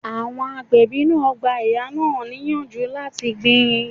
Àwọn agbẹ̀bí náà gba ìyá náà ni ìyànjú láti gbin